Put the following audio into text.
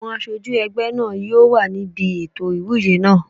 Àwọn aṣojú ẹgbẹ́ náà yóò wà níbi ètò ìwúyè náà